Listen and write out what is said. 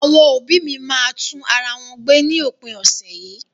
Àwọn òbí́ mi máa tún ara wọn gbé ní òpin ọ̀sẹ̀ yìí.